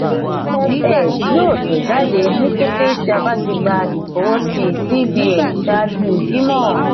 afs yoo tẹjade ni kete ti a ba ti gba ifọwọsi cbn ṣaaju jimọ.